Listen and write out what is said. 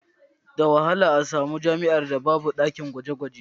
Da wahala ka ga jami'ar da ba ta da ɗakin gwaje-gwaje.